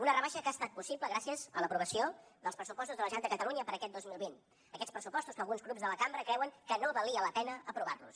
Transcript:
una rebaixa que ha estat possible gràcies a l’aprovació dels pressupostos de la generalitat de catalunya per a aquest dos mil vint aquests pressupostos que alguns grups de la cambra creuen que no valia la pena aprovar los